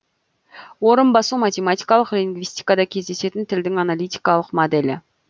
орын басу математикалық лингвистикада кездесетін тілдің аналитикалық моделі